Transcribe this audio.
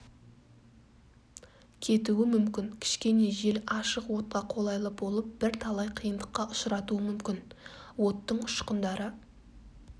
кетуі мүмкін кішкене жел ашық отқа қолайлы болып бір талай қиындыққа ұшыратуы мүмкін оттың ұшқындары